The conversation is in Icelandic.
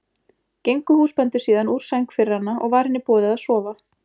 Gengu húsbændur síðan úr sæng fyrir hana og var henni boðið að sofa.